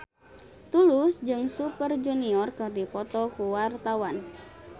Tulus jeung Super Junior keur dipoto ku wartawan